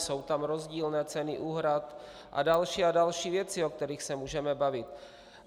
Jsou tam rozdílné ceny úhrad a další a další věci, o kterých se můžeme bavit.